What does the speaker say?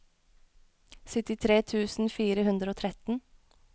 syttitre tusen fire hundre og tretten